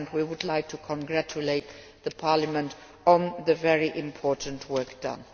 We would like to congratulate Parliament on the very important work done.